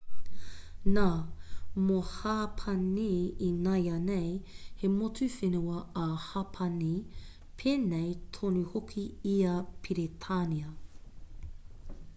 nā mō hapani ināianei he motu whenua a hapani pēnei tonu hoki i a peretānia